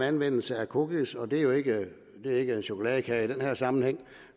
anvendelse af cookies og det er ikke chokoladekage i den her sammenhæng